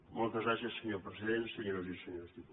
moltes gràcies senyor president senyores i senyors diputats